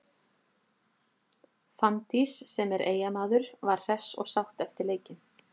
Fanndís, sem er Eyjamaður var hress og sátt eftir leikinn.